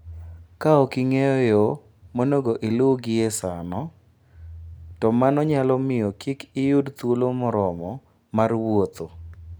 Ka ok ing'eyo yo monego iluw gie sano, to mano nyalo miyo kik iyud thuolo moromo mar wuotho.